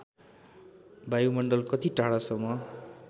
वायुमण्डल कति टाढासम्म